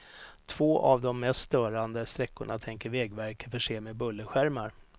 Två av de mest störande sträckorna tänker vägverket förse med bullerskärmar.